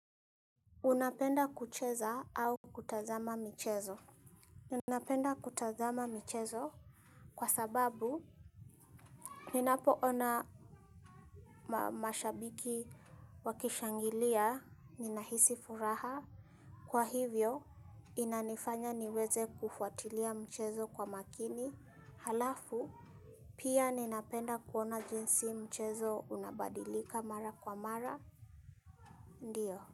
Unapenda kucheza au kutazama michezo? Unapenda kutazama michezo kwa sababu. Ninapo ona mashabiki wakishangilia. Ninahisi furaha. Kwa hivyo, inanifanya niweze kufuatilia mchezo kwa makini. Halafu, pia ninapenda kuona jinsi mchezo unabadilika mara kwa mara. Ndiyo.